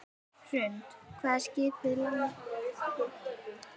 Hrund: Hvað er skipið langt?